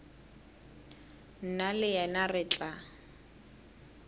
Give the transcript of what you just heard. nna le yena re tla